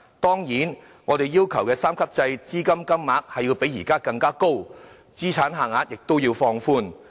當然，在我們要求的三級制下，資助金額須較現時為高，資產限額亦須放寬。